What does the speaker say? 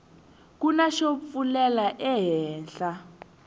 kuna xo pfulela ehenhla